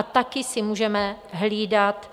A taky si můžeme hlídat,